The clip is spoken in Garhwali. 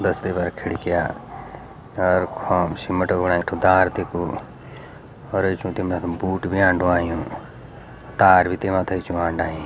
बस के बहार खिड़कियाँ अर ख्वाम सिमट क बणायु ठुक्दार तेखु और ये चुटी यखम बूट भी अन्डू अयूं तार भी तेमा तखिमा अंडायीं।